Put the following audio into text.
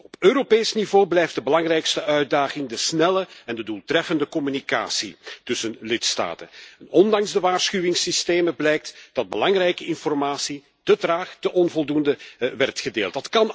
Op Europees niveau blijft de belangrijkste uitdaging de snelle en de doeltreffende communicatie tussen lidstaten en ondanks de waarschuwingssystemen blijkt dat belangrijke informatie te traag, te onvoldoende werd gedeeld.